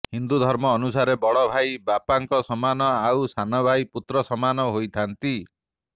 ହିନ୍ଦୁ ଧର୍ମ ଅନୁସାରେ ବଡ଼ ଭାଇ ବାପାଙ୍କ ସମାନ ଆଉ ସାନ ଭାଇ ପୁତ୍ର ସମାନ ହୋଇଥାଆନ୍ତି